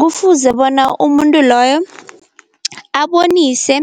Kufuze bona umuntu loyo abonise